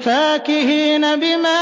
فَاكِهِينَ بِمَا